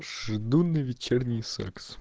жду на вечерний секс